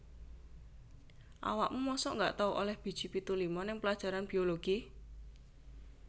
Awakmu mosok gak tau oleh biji pitu lima nang pelajaran biologi?